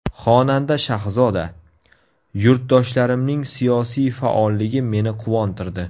Xonanda Shahzoda: Yurtdoshlarimning siyosiy faolligi meni quvontirdi.